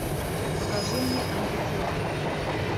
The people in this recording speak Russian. покажи мне антитела